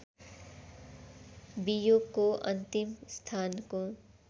बियोको अन्तिम स्थानको